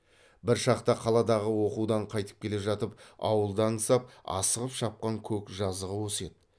бір шақта қаладағы оқудан қайтып келе жатып ауылды аңсап асығып шапқан көк жазығы осы еді